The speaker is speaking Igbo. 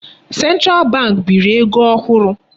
Central bank biri ego ohụrụ.